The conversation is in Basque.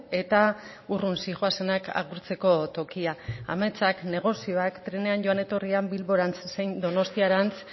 eta urrun zihoazenak agurtzeko tokia ametsak negozioak trenean joan etorrian bilborantz zein donostiarantz